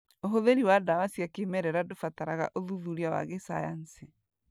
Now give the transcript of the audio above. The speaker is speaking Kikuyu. ũhũthĩri wa ndawa cia kĩmerera ndũbataraga ũthuthuria wa gĩcayanci